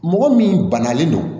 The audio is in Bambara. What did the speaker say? Mɔgɔ min banalen don